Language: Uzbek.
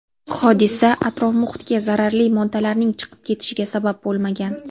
Hodisa atrof-muhitga zararli moddalarning chiqib ketishiga sabab bo‘lmagan.